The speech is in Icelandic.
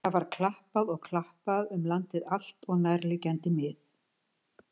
Það var klappað og klappað um landið allt og nærliggjandi mið.